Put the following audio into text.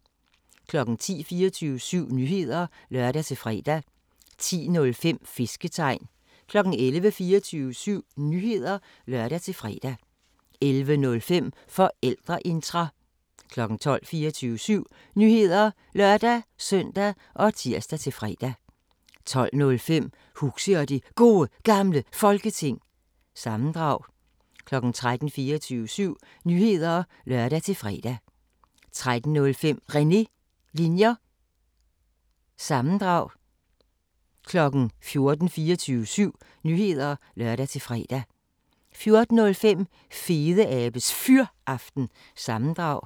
10:00: 24syv Nyheder (lør-fre) 10:05: Fisketegn 11:00: 24syv Nyheder (lør-fre) 11:05: Forældreintra 12:00: 24syv Nyheder (lør-søn og tir-fre) 12:05: Huxi og det Gode Gamle Folketing – sammendrag 13:00: 24syv Nyheder (lør-fre) 13:05: René Linjer- sammendrag 14:00: 24syv Nyheder (lør-fre) 14:05: Fedeabes Fyraften – sammendrag